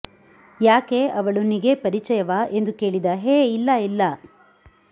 ಯಾಕೇ ಅವಳು ನಿಗೆ ಪರಿಚಯವಾ ಎಂದು ಕೇಳಿದ ಹೇ ಇಲ್ಲ ಇಲ್ಲಾ